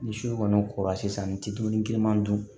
Ni su kɔni kɔrɔla sisan ni dumuni kirinan dun